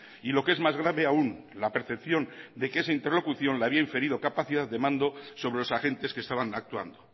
y lo que es más grave aún la percepción de que esa interlocución había inferido capacidad de mando sobre los agentes que estaban actuando